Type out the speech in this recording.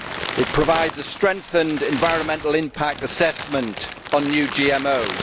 It provides for a strengthened environmental impact assessment on new GMOs.